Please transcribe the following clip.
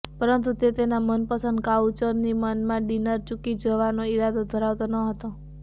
પરંતુ તે તેના મનપસંદ કોઉચરની માનમાં ડિનર ચૂકી જવાનો ઇરાદો ધરાવતો ન હતો